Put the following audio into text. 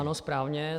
Ano správně.